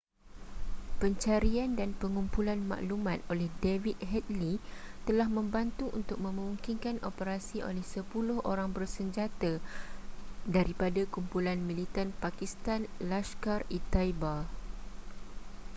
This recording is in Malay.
pencarian dan pengumpulan maklumat oleh david headley telah membantu untuk memungkinkan operasi oleh 10 orang bersenjata daripada kumpulan militan pakistan laskhar-e-taiba